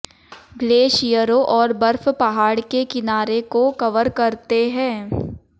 ग्लेशियरों और बर्फ पहाड़ के किनारे को कवर करते हैं